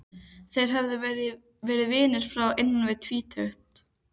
Þeir höfðu verið vinir frá því innan við tvítugt.